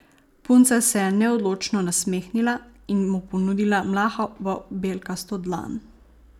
Punca se je neodločno nasmehnila in mu ponudila mlahavo, belkasto dlan.